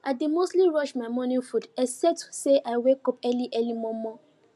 i dey mostly rush my morning food except say i wake up early early mor mor